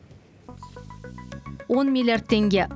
он миллиард теңге